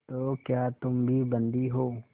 तो क्या तुम भी बंदी हो